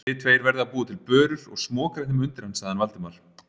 Þið tveir verðið að búa til börur og smokra þeim undir hann sagði Valdimar.